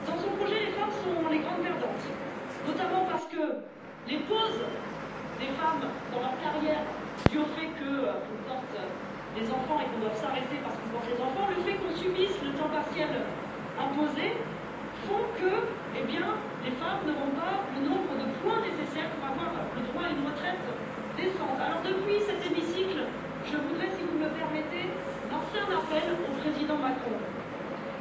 Dans son projet, les femmes sont les grandes perdantes, notamment parce que les pauses que font les femmes dans leur carrière, dues au fait qu'elles portent les enfants et qu'elles doivent s'arrêter en conséquence, et le fait qu'elles subissent le temps partiel imposé font que les femmes n'auront pas le nombre de points nécessaires pour avoir le droit à une retraite décente. Aussi, depuis cet hémicycle, je voudrais, si vous me le permettez, lancer un appel au président français